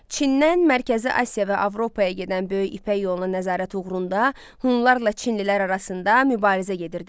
Çindən Mərkəzi Asiya və Avropaya gedən böyük İpək yoluna nəzarət uğrunda Hunlarla Çinlilər arasında mübarizə gedirdi.